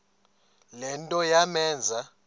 le nto yamenza